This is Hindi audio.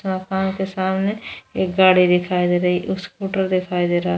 मकान के सामने एक गाड़ी दिखाई दे रही स्कूटर दिखाई दे रहा है।